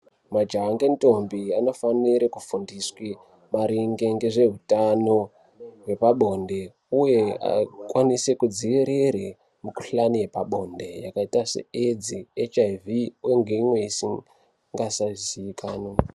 Majaha nge ndombi anofanire ku fundiswe maringe ngezve hutano hwepa bonde uye akwanise ku dzivirire mu kuhlani yepa bonde yakaita se edzi hiv uye nge imweni isingasa ziikanwi.